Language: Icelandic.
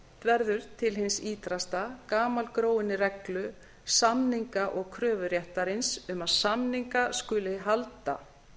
verður til hins ýtrasta gamalgróinni reglu samninga og kröfuréttarins um að samninga skuli halda